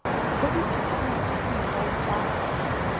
go ditekanyo tše dingwe tša